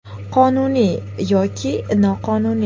Qonuniy yoki noqonuniy.